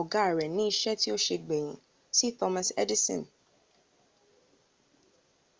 oga re ni ise ti o se gbeyin si thomas edison